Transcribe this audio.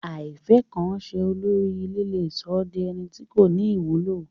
Àìfẹ́kanse olórí ilé le sọ́ di ẹni tí kò ní ìwúlò